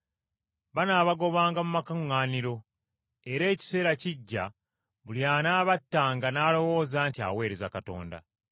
Banaabagobanga mu makuŋŋaaniro, era ekiseera kijja buli anaabattanga n’alowooza nti aweereza Katonda.